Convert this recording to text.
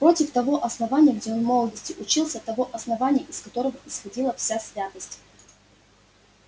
против того основания где он в молодости учился того основания из которого исходила вся святость